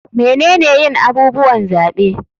Menene yin abubuwan zaɓe?